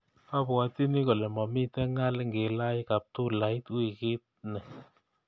Abwatyini kole mamiten ngaal ngilach kaptulait wiikit ni